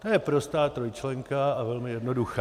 To je prostá trojčlenka a velmi jednoduchá.